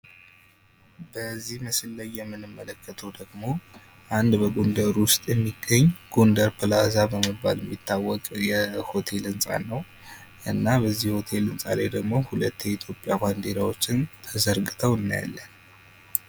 በዚህ ምስል የምንመለከተው ደግሞ አንድ በጎንደር ውስጥ የሚገኝ ፕላዛ በመባል የሚታወቅ የሆቴል ህንፃ ነው። እና በዚህ ህንፃ ላይ ደግሞ ሁለት የኢትዮጵያ ባንዳዎች ተሰቅለው እናያለን።